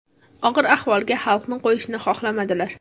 Og‘ir ahvolga xalqni qo‘yishni xohlamadilar.